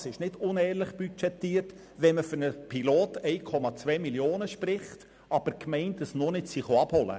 Es ist nicht unehrlich budgetiert, wenn die für einen Pilotversuch 1,2 Mio. Franken gesprochenen Gelder von den Gemeinden noch nicht eingefordert wurden.